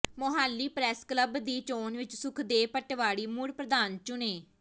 Mohali press club ਦੀ ਚੋਣ ਵਿੱਚ ਸੁਖਦੇਵ ਪਟਵਾਰੀ ਮੁੜ ਪ੍ਰਧਾਨ ਚੁਣੇ